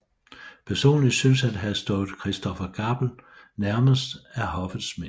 Personlig synes han at have stået Christopher Gabel nærmest af Hoffets Mænd